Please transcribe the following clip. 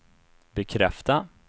bekräfta